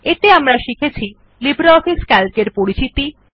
এতে আমরা শিখেছি লিব্রিঅফিস সিএএলসি এর পরিচিতি